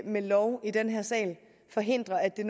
med lov i den her sal forhindre at det